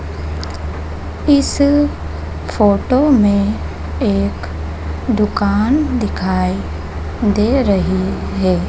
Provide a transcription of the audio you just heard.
इस फोटो में एक दुकान दिखाई दे रही है।